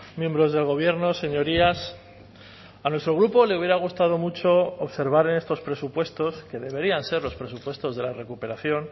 miembros del gobierno señorías a nuestro grupo le hubiera gustado mucho observar en estos presupuestos que deberían ser los presupuestos de la recuperación